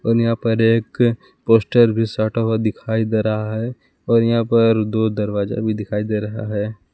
और यहां पर एक पोस्टर भी साटा हुआ दिखाई दे रहा है और यहां पर दो दरवाजा भी दिखाई दे रहा है।